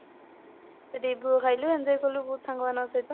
ସେଠି ଭୋଗ ଖାଇଲୁ enjoy କଲୁ ବହୁତ ସାଙ୍ଗମାନଙ୍କ ସହିତ